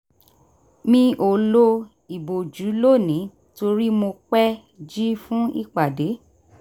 mi ò lo ìbòjú lónìí torí mo pẹ́ jí fún ipade